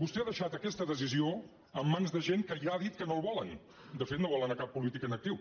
vostè ha deixat aquesta decisió en mans de gent que ja ha dit que no el volen de fet no volen cap polític en actiu